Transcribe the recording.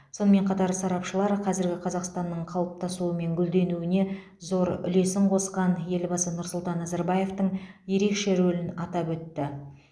сонымен қатар сарапшылар қазіргі қазақстанның қалыптасуы мен гүлденуіне зор үлесін қосқан елбасы нұрсұлтан назарбаевтың ерекше рөлін атап өтті